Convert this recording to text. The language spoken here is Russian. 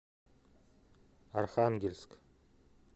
архангельск